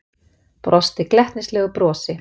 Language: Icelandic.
Brosti glettnislegu brosi.